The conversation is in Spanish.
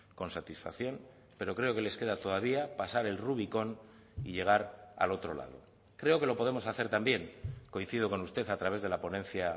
con satisfacción pero creo que les queda todavía pasar el rubicón y llegar al otro lado creo que lo podemos hacer también coincido con usted a través de la ponencia